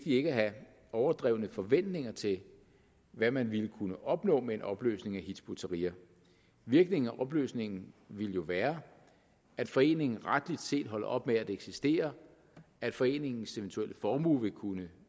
ikke at have overdrevne forventninger til hvad man ville kunne opnå med en opløsning af hizb ut tahrir virkningen af opløsningen ville jo være at foreningen retligt set holdt op med at eksistere at foreningens eventuelle formue ville kunne